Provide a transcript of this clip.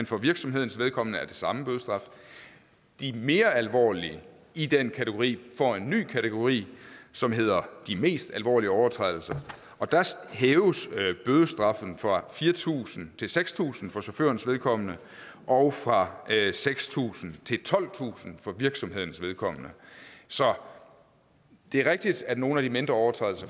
for virksomhedens vedkommende er den samme bødestraf de mere alvorlige i den kategori får en ny kategori som hedder de mest alvorlige overtrædelser og der hæves bødestraffen fra fire tusind til seks tusind kroner for chaufførens vedkommende og fra seks tusind til tolvtusind kroner for virksomhedens vedkommende så det er rigtigt at nogle af de mindre overtrædelser